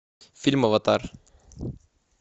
фильм аватар